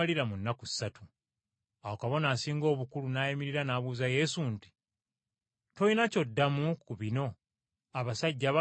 Awo Kabona Asinga Obukulu n’ayimirira n’abuuza Yesu nti, “Tolina ky’oddamu ku bino abasajja bano bye bakuloopa?”